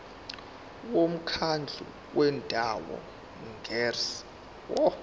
umkhandlu wendawo ngerss